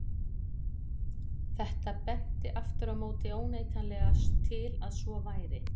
Þetta benti aftur á móti óneitanlega til að svo væri.